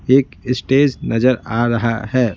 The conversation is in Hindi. एक स्टेज नजर आ रहा है।